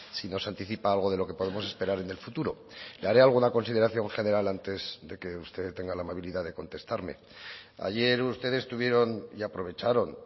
si nos anticipa algo de lo que podemos esperar en el futuro le haré alguna consideración general antes de que usted tenga la amabilidad de contestarme ayer ustedes tuvieron y aprovecharon